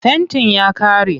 Fentin ya ƙare.